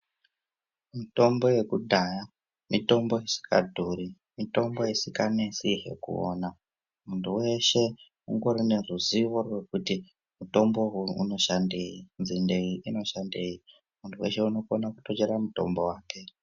Mitombo yekudhaya, mitombo isikadhuri, mitombo isikanesihe kuona. Muntu weshe ungori neruzivo rwekuti mitombo uyu unoshandei, nzinde iyi inoshandei. Muntu weshe unotokona kutochera mutombo wake.